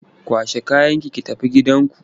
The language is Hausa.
Kwashe kayanki ki tafi gidanku!